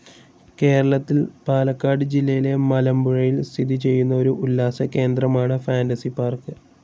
കേരളത്തിൽ പാലക്കാട് ജില്ലയിലെ മലമ്പുഴയിൽ സ്ഥിതി ചെയ്യുന്ന ഒരു ഉല്ലാസകേന്ദ്രമാണ് ഫാന്റസി പാർക്ക്.